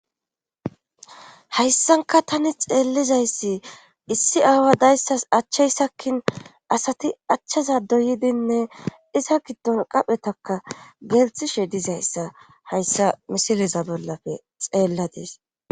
hayssanka tani xeellizayssi issi aawa dayssas achchayssakkin asati achchaza doydinne iza giddon qaphetaka geltishe dizayssa hayssa misileza bollafe xeella dees